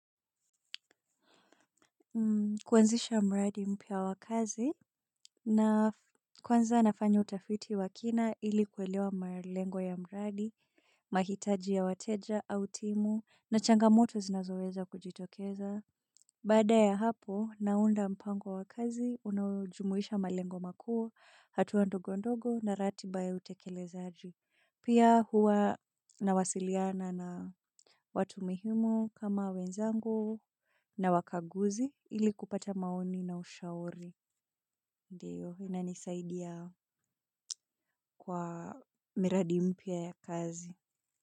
Kuwanzisha mradi mpya wa kazi, na kwanza nafanya utafiti wa kina ili kuelewa malengo ya mradi, mahitaji ya wateja, au timu, na changamoto zinazoweza kujitokeza. Baada ya hapo, naunda mpango wa kazi, unaojumuisha malengo makuu, hatua ndogo ndogo na ratiba ya utekelezaji. Pia huwa nawasiliana na watu muhimu kama wenzangu na wakaguzi ili kupata maoni na ushauri. Ndiyo, inanisaidia kwa miradi mpya ya kazi.